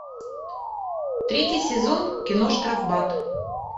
третий сезон кино штрафбат